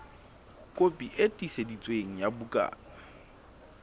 kopi e tiiseditsweng ya bukana